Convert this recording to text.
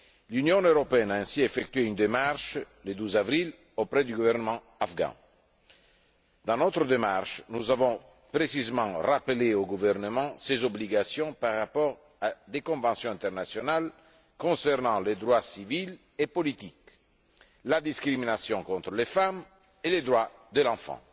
L'Union européenne a ainsi effectué une démarche, le 12 avril, auprès du gouvernement afghan. Dans notre démarche, nous avons précisément rappelé au gouvernement ses obligations par rapport à des conventions internationales concernant les droits civils et politiques, la discrimination contre les femmes et les droits de l'enfant.